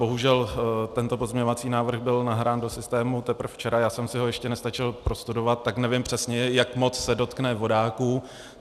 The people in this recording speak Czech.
Bohužel tento pozměňovací návrh byl nahrán do systému teprve včera, já jsem si ho ještě nestačil prostudovat, tak nevím přesně, jak moc se dotkne vodáků.